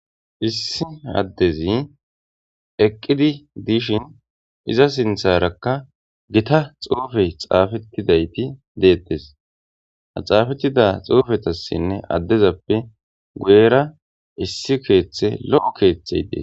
Issi adezi eqqidi dishin iza sintharaka gita xuufey xaafetidayti detees ha xaafetida xuufetasinne adezappe guyera issi keethey lo'o keethey de'es.